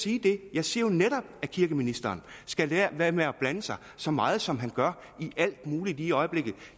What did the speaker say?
jeg siger netop at kirkeministeren skal lade være med at blande sig så meget som han gør i alt muligt lige i øjeblikket